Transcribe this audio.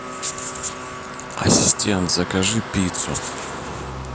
ассистент закажи пиццу